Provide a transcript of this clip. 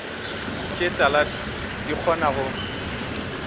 tše tala di kgona go